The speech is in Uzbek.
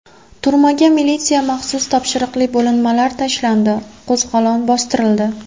Turmaga militsiya maxsus topshiriqli bo‘linmalari tashlandi, qo‘zg‘olon bostirildi.